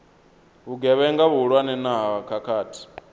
vhugevhenga vhuhulwane na ha khakhathi